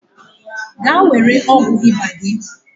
Gaa were ọgwụ ịba gị.